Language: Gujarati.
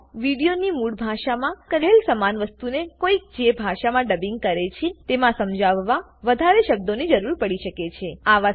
કોઈક વાર વિડીયોની મૂળ ભાષામાં કહેલ સમાન વસ્તુને કોઈક જે ભાષામાં ડબિંગ કરે છે તેમાં સમજાવવા વધારે શબ્દોની જરૂર પડી શકે છે